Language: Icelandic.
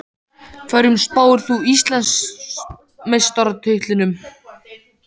Hverjum spáir þú Íslandsmeistaratitlinum?